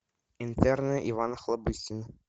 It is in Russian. интерны иван охлобыстин